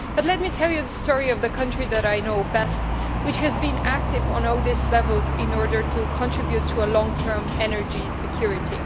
Let me tell you the story of the country I know best, which has been active on all these levels in order to contribute to long term energy security.